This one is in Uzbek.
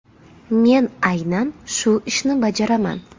Men aynan shu ishni bajaraman.